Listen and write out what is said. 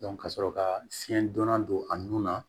ka sɔrɔ ka fiɲɛ donna don a nun na